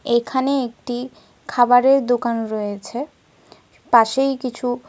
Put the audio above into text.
এখানে একটি খাবারের দোকান রয়েছে। পাশেই কিছু --